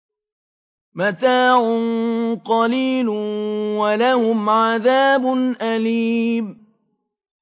مَتَاعٌ قَلِيلٌ وَلَهُمْ عَذَابٌ أَلِيمٌ